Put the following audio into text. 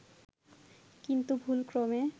কিন্তু ভুলক্রমে